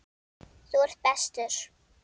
Þú ert bestur.